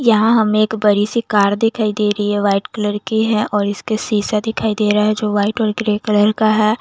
यहा हमे एक बड़ी सी कार दिखाई दे रही है वाइट कलर की है और इसके सीसे दिखाई देरा है जो वाइट और ग्रे कलर का है।